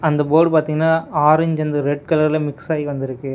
அந்த போர்டு பாத்தீங்கன்னா orange and red கலர்ல மிக்ஸ்ஸாயி வந்துருக்கு.